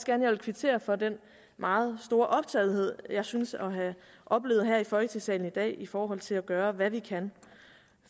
gerne vil kvittere for den meget store optagethed jeg synes at have oplevet her i folketinget i dag i forhold til at gøre hvad vi kan